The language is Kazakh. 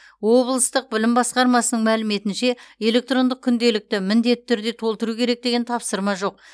облыстық білім басқармасының мәліметінше электрондық күнделікті міндетті түрде толтыру керек деген тапсырма жоқ